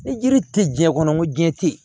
Ni yiri tɛ diɲɛ kɔnɔ ko diɲɛ tɛ yen